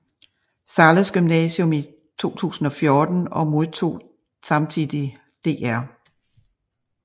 Zahles Gymnasium i 2014 og modtog samtidig Dr